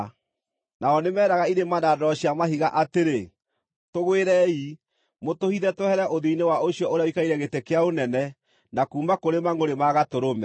Nao nĩmeeraga irĩma na ndwaro cia mahiga atĩrĩ, “Tũgwĩrei, mũtũhithe twehere ũthiũ-inĩ wa ũcio ũrĩa ũikarĩire gĩtĩ kĩa ũnene, na kuuma kũrĩ mangʼũrĩ ma Gatũrũme!